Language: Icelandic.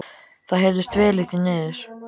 Það heyrðist vel í því niður.